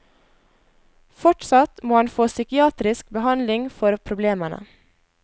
Fortsatt må han få psykiatrisk behandling for problemene.